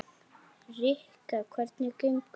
Rikka, hvernig gengur?